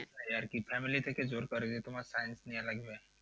আর কি family থেকে জোর করে যে তোমার science নেওয়া লাগবে।